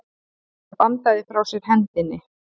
Hann bandaði frá sér hendinni.